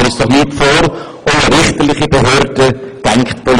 Machen wir uns nichts vor: